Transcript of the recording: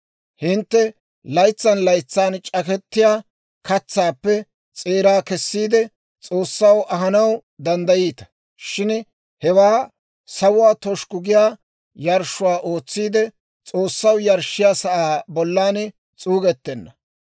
Hintte laytsan laytsan c'akettiyaa katsaappe s'eeraa kessiide, S'oossaw ahanaw danddayiita; shin hewaa sawuwaa toshukku giyaa yarshshuwaa ootsiide, S'oossaw yarshshiyaa sa'aa bollan s'uugettenna.